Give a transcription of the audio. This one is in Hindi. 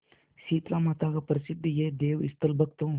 शीतलामाता का प्रसिद्ध यह देवस्थल भक्तों